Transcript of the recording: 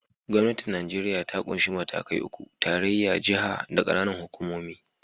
Gwamnatin Nijeriya ta ƙunshi matakai uku: tarayya, jiha, da ƙananan hukumomi.